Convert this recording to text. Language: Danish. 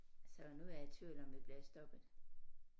Så nu er jeg i tvivl om vi bliver stoppet